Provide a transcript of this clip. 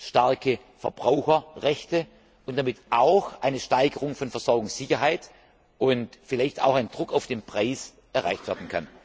starke Verbraucherrechte und damit auch eine Steigerung der Versorgungssicherheit und vielleicht auch ein Druck auf den Preis erreicht werden können.